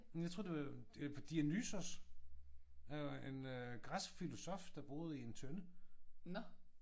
Jeg troede det var øh Dionysos øh en græsk filosof der boede i en tønde